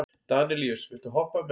Danelíus, viltu hoppa með mér?